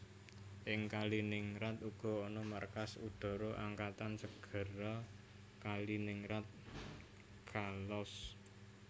Ing Kaliningrad uga ana markas udhara angkatan segara Kaliningrad Chkalovsk